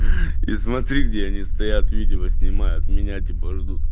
хи-хи и смотри где они стоят видео снимают меня типа ждут